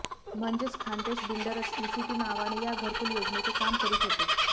म्हणजेच खान्देश बिल्डरच ईसीटी नावाने या घरकूल योजनेचे काम करीत होते